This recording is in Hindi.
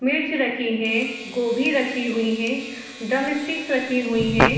मिर्च रखी हैं गोभी रखी हुई हैं ड्रम स्टीक्स रखी हुई हैं |